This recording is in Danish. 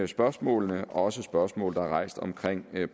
spørgsmålene også spørgsmål der er rejst omkring